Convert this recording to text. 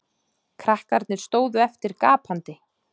Krakkarnir stóðu eftir gapandi.